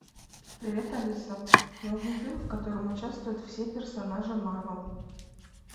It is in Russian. привет алиса найди фильм в котором участвуют все персонажи марвел